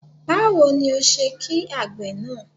Báwo ni o ṣe ki àgbè náà?